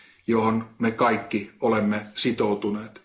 johon me kaikki olemme sitoutuneet.